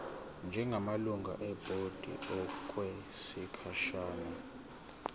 njengamalungu ebhodi okwesikhashana